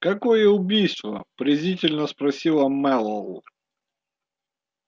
какое убийство презрительно спросила мэллоу